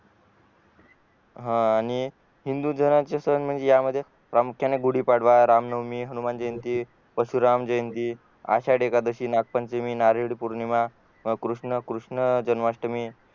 हा आणि हिंदू सणांचे प्रामुख्याने गुडी पाडवा रामनवमी हनुमानजयंती परशुराम जयंती आषाढी एकादशी नागपंचमी नारळी पौर्णिमा कृष्ण कृष्णजन्माष्टमी